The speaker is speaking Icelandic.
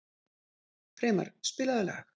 Freymar, spilaðu lag.